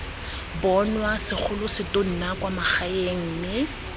bonwa segolosetonna kwa magaeng mme